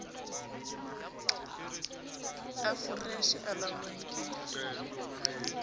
a foreshe e laolwang ke